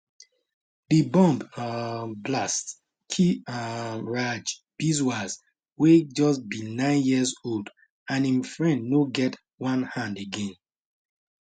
di bomb um blast kill um raj biswas wey just be nine years old and im friend no get one hand again